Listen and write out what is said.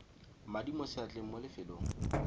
madi mo seatleng mo lefelong